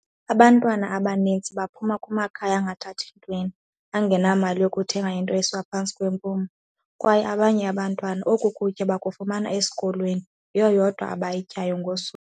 Abantwana abaninzi baphuma kumakhaya angathathi ntweni, angenamali yokuthenga into esiwa phantsi kwempumlo, kwaye abanye abantwana oku kutya bakufumana esikolweni, yiyo yodwa abayityayo ngosuku.